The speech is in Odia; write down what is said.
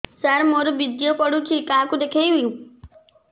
ସାର ମୋର ବୀର୍ଯ୍ୟ ପଢ଼ୁଛି କାହାକୁ ଦେଖେଇବି